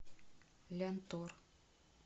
лянтор